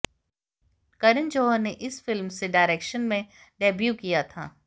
करण जौहर ने इस फिल्म से डायरेक्शन में डेब्यू किया था